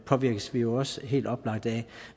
påvirkes vi jo også helt oplagt af